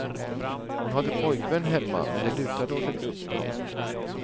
Hon hade pojkvän hemma men det lutade åt ett uppbrott.